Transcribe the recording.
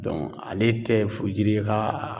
ale tɛ furujiri ye k'a a